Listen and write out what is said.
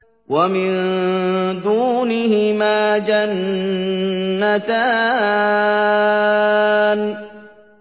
وَمِن دُونِهِمَا جَنَّتَانِ